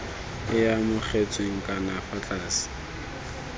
e amogetsweng ka fa tlase